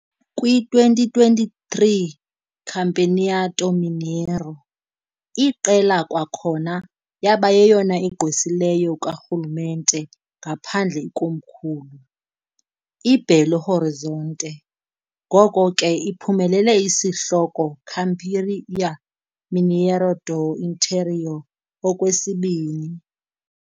Kwi-2023 Campeonato Mineiro, iqela kwakhona yaba yeyona igqwesileyo karhulumente ngaphandle ikomkhulu, i-Belo Horizonte, ngoko ke iphumelele isihloko "Campeão Mineiro do Interior" okwesibini.